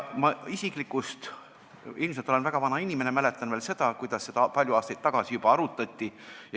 Mina isiklikult – ilmselt olen ma väga vana inimene – mäletan veel seda, kuidas seda juba palju aastaid tagasi arutati.